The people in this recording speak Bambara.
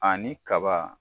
Ani kaba